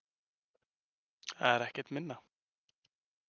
Það er ekkert minna!